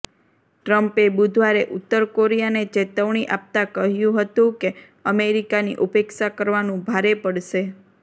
ટ્રંપે બુધવારે ઉત્તર કોરિયાને ચેતવણી આપતાં કહ્યું હતું કે અમેરિકાની ઉપેક્ષા કરવાનું ભારે પડશે